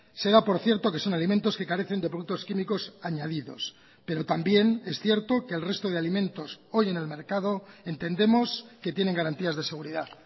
se da por cierto que son alimentos que carecen de productos químicos añadidos pero también es cierto que el resto de alimentos hoy en el mercado entendemos que tienen garantías de seguridad